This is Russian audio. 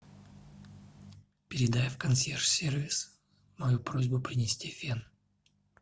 передай в консьерж сервис мою просьбу принести фен